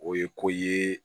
O ye ko ye